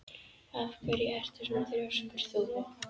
Af hverju ertu svona þrjóskur, Þúfa?